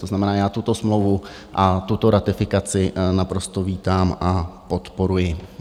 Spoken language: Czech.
To znamená, já tuto smlouvu a tuto ratifikaci naprosto vítám a podporuji.